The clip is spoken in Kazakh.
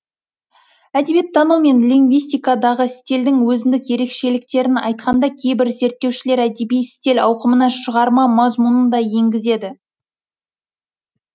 әдебиеттану мен лингвистикадағы стильдің өзіндік ерекшеліктерін айтқанда кейбір зерттеушілер әдеби стиль ауқымына шығарма мазмұнын да енгізеді